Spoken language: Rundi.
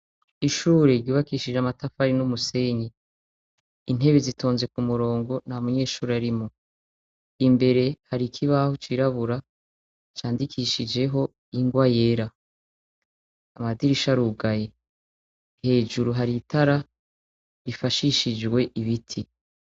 Ishure ryubakishije amatafari n'umusenyi ,intebe zitonze ku murongo nta munyeshuri arimwo. Imbere hari kibaho cirabura candikishijeho ingwa yera, amadirisha arugaye. Hejuru hari itara rifashishijwe ibiti.